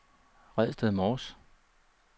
Redsted Mors